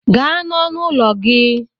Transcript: Gaa n'ọnụ ụlọ gị!